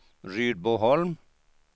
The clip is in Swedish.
Rydboholm